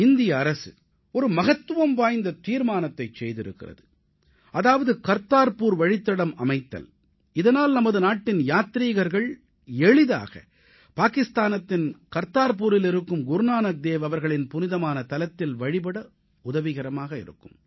இந்திய அரசு ஒரு மகத்துவம் வாய்ந்த தீர்மானத்தைச் செய்திருக்கிறது அதாவது கர்தார்புர் வழித்தடம் அமைத்தல் இதனால் நமது நாட்டின் யாத்ரீகர்கள் எளிதாக பாகிஸ்தானின் கர்தார்புரில் இருக்கும் குருநானக் தேவ் அவர்களின் புனிதமான தலத்தில் வழிபட உதவிகரமாக இருக்கும்